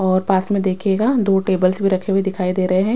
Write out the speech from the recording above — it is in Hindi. और पास में देखिएगा दो टेबल्स भी रखे हुए दिखाई दे रहे हैं।